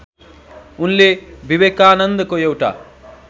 उनले विवेकानन्दको एउटा